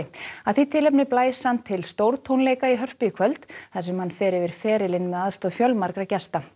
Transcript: að því tilefni blæs hann til stórtónleika í Hörpu í kvöld þar sem hann fer yfir ferilinn með aðstoð fjölmargra gesta